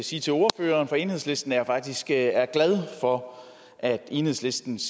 sige til ordføreren for enhedslisten at jeg faktisk er glad for at enhedslistens